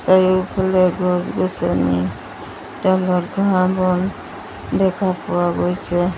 চাৰিওফালে গছ-গছনি তলত ঘাঁহ-বন দেখা পোৱা গৈছে।